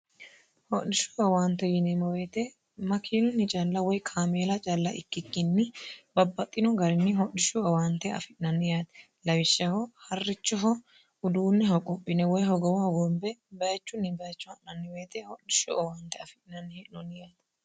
hodhishshu awaante yineemoweete makiilunni calla woy kaameela calla ikkikkinni babbaxxino garinni hodhishshu awaante afi'nanniaati lawishshaho harrichoho uduunneho qophine woy hogowohogoombe bayichunni baicho ha'nanniweete hodhishshu owaante afi'nanni hee'nooniyaati